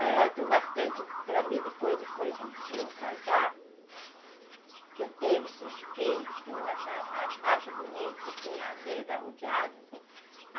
Um fato marcante para mim foi depois depois de eu casar, que eu tive esses filhos, que eu achava, acho bonito, assim, a mesa rodeada, né